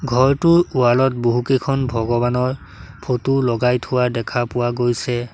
ঘৰটোৰ ৱাল ত বহুকেইখন ভগৱানৰ ফটো লগাই থোৱা দেখা পোৱা গৈছে।